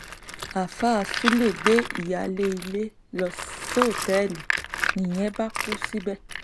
àáfàá sulé gbé ìyáálé ilé lọ sọtẹ́ẹ̀lì nìyẹn bá kú síbẹ̀